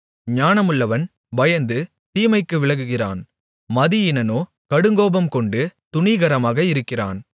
ஞானமுள்ளவன் பயந்து தீமைக்கு விலகுகிறான் மதியீனனோ கடுங்கோபம்கொண்டு துணிகரமாக இருக்கிறான்